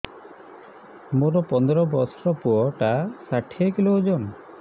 ମୋର ପନ୍ଦର ଵର୍ଷର ପୁଅ ଟା ଷାଠିଏ କିଲୋ ଅଜନ